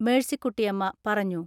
മേഴ്സികുട്ടിയമ്മ പറഞ്ഞു.